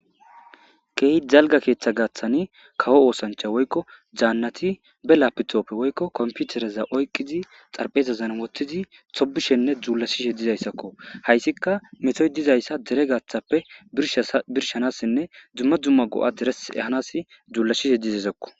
keey jalga keeththa gaaththani kawo oosancha woykko jaannati be lapitoppe woykko komputereza oyqizi xarpheezazan wottizi sobishenne dzuula shishe dizayssakko hayssikka metoy dizayssa dere gaaththappe birshanassinne dzumma dzumma go7a deres ehanas dzuulla shishe dizezakko